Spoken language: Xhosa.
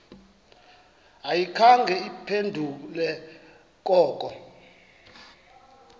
ayikhange iphendule koko